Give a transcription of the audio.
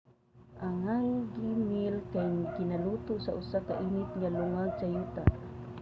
ang hangi meal kay ginaluto sa usa ka init nga lungag sa yuta